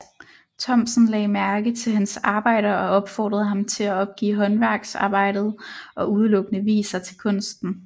Thomsen lagde mærke til hans arbejder og opfordrede ham til at opgive håndværksarbejdet og udelukkende vie sig til kunsten